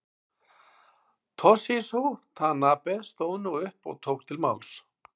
Toshizo Tanabe stóð nú upp og tók til máls.